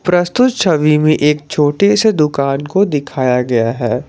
प्रस्तुत छवि में एक छोटे से दुकान को दिखाया गया है।